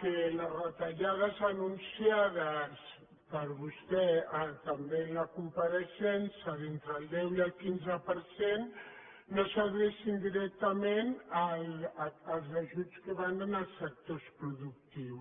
que les retallades anunciades per vostè també en la compareixença d’entre el deu i el quinze per cent no s’adrecin directament als ajuts que van als sectors productius